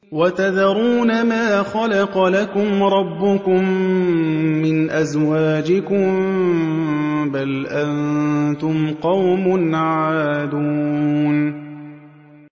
وَتَذَرُونَ مَا خَلَقَ لَكُمْ رَبُّكُم مِّنْ أَزْوَاجِكُم ۚ بَلْ أَنتُمْ قَوْمٌ عَادُونَ